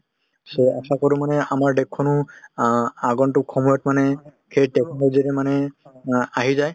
so আশা কৰো মানে আমাৰ দেশখনো অ আগন্তুক সময়ত মানে সেই technology টো মানে অ আহি যায় ।